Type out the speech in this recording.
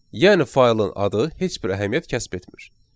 Yəni faylın adı heç bir əhəmiyyət kəsb etmir.